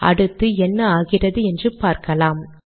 அடுத்து என்ன ஆகிறது என்று பார்க்கலாம்